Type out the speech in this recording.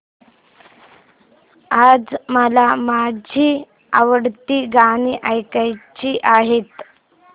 आज मला माझी आवडती गाणी ऐकायची आहेत